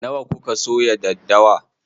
Nawa kuka soya daddawa?